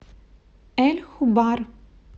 эль хубар